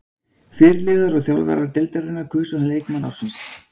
Fyrirliðar og þjálfarar deildarinnar kusu hann leikmann ársins.